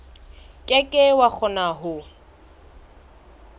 ke ke wa kgona ho